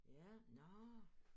Ja nårh